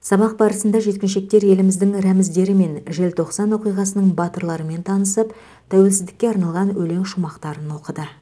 сабақ барысында жеткіншектер еліміздің рәміздері мен желтоқсан оқиғасының батырларымен танысып тәуелсіздікке арналған өлең шумақтарын оқыды